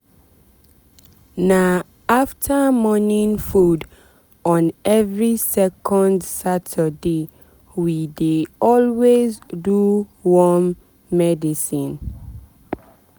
na after morning food on every second saturday we dey always do worm medicine.